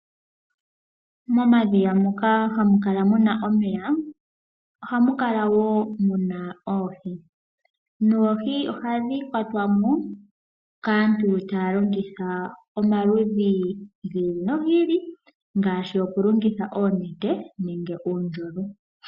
Momadhiya moka hamukala omeya ohamukala woo muna oohi, noohi ohadhi kwatwamo kaantu taya longitha omaludhi giili nogiili ngaashi oku longitha oonete nenge uundjolo.